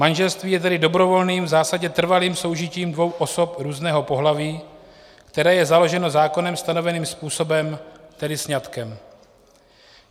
Manželství je tedy dobrovolným, v zásadě trvalým soužitím dvou osob různého pohlaví, které je založeno zákonem stanoveným způsobem, tedy sňatkem.